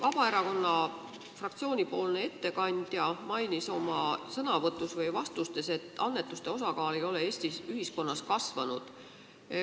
Vabaerakonna fraktsiooni ettekandja mainis oma sõnavõtus või vastustes, et annetuste osakaal ei ole Eesti ühiskonnas kasvanud.